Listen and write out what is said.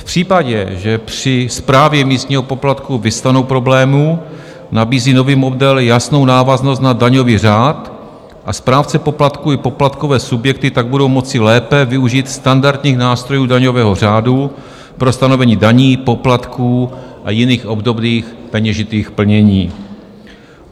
V případě, že při správě místního poplatku vyvstanou problémy, nabízí nový model jasnou návaznost na daňový řád, a správce poplatků i poplatkové subjekty tak budou moci lépe využít standardních nástrojů daňového řádu pro stanovení daní, poplatků a jiných obdobných peněžitých plnění.